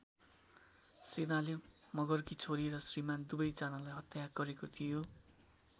सेनाले मगरकी छोरी र श्रीमान् दुवै जनालाई हत्या गरेको थियो।